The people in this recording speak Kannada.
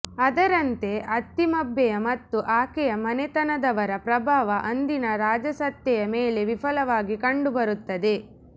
ಅದರಂತೆ ಅತ್ತಿಮಬ್ಬೆಯ ಮತ್ತು ಆಕೆಯ ಮನೆತನದವರ ಪ್ರಭಾವ ಅಂದಿನ ರಾಜಸತ್ತೆಯ ಮೇಲೆ ವಿಪುಲವಾಗಿ ಕಂಡುಬರುತ್ತದೆ